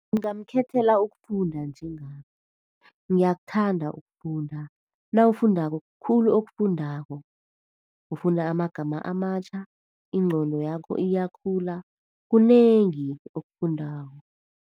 Ngingamkhethela ukufunda njengami. Ngiyakuthanda ukufunda. Nawufundako kukhulu okufundako. Ufunda amagama amatjha, ingqondo yakho iyakhula, kunengi okufundako.